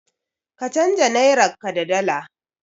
Ka canja nairarka da dala.